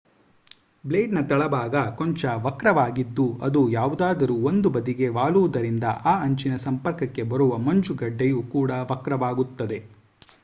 blade ನ ‌ ತಳಭಾಗ ಕೊಂಚ ವಕ್ರವಾಗಿದ್ದು ಅದು ಯಾವುದಾದರೂ ಒಂದು ಬದಿಗೆ ವಾಲುವುದರಿಂದ ಆ ಅಂಚಿನ ಸಂಪರ್ಕಕ್ಕೆ ಬರುವ ಮಂಜುಗಡ್ಡೆಯು ಕೂಡಾ ವಕ್ರವಾಗುತ್ತದೆ